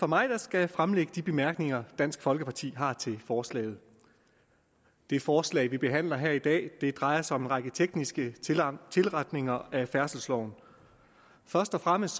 mig der skal fremlægge de bemærkninger dansk folkeparti har til forslaget det forslag vi behandler her i dag drejer sig om en række tekniske tilretninger af færdselsloven først og fremmest